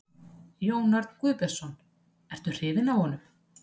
Jón Örn Guðbjartsson: Ertu hrifinn af honum?